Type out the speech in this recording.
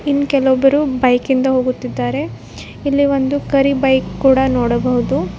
ಇನ್ ಕೆಲವೊಬ್ಬರು ಬೈಕ್ ಇಂದ ಹೋಗುತ್ತಿದ್ದಾರೆ ಇಲ್ಲಿ ಒಂದು ಕರಿ ಬೈಕ್ ಕೂಡ ನೋಡಬಹುದು.